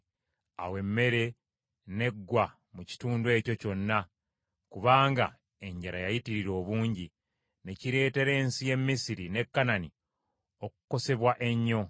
Awo emmere n’eggwa mu kitundu ekyo kyonna kubanga enjala yayitirira obungi, ne kireetera ensi y’e Misiri ne Kanani okukosebwa ennyo.